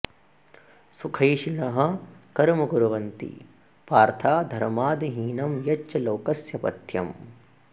सुखैषिणः कर्म कुर्वन्ति पार्था धर्मादहीनं यच्च लोकस्य पथ्यम्